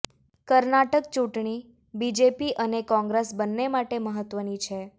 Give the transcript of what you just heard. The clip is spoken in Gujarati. કર્ણાટક ચૂંટણી બીજેપી અને કોંગ્રેસ બન્ને માટે મહત્વની છે